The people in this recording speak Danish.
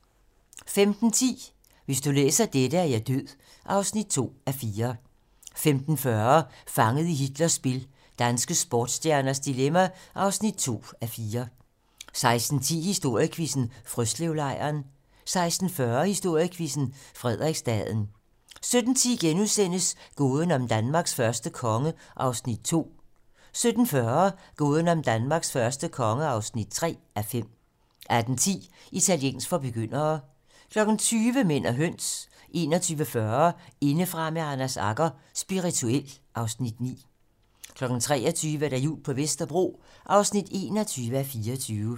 15:10: Hvis du læser dette, er jeg død (2:4) 15:40: Fanget i Hitlers spil - danske sportsstjerners dilemma (2:4) 16:10: Historiequizzen: Frøslevlejren 16:40: Historiequizzen: Frederiksstaden 17:10: Gåden om Danmarks første konge (2:5)* 17:40: Gåden om Danmarks første konge (3:5) 18:10: Italiensk for begyndere 20:00: Mænd og høns 21:40: Indefra med Anders Agger - Spirituel (Afs. 9) 23:00: Jul på Vesterbro (21:24)